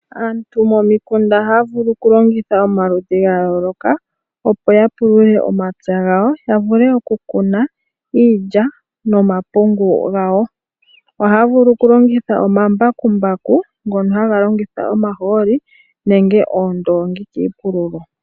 Aantu momikunda ohaya vulu okulongitha omikalo dha yooloka, opo ya pulule omapya gawo ya vule okukuna iilya nomapungu gawo. Ohaya vulu okulongitha omambakumbaku ngono haga longitha omahooli nenge oondoongi kiipululo.